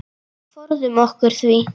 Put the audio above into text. Forðum okkur því.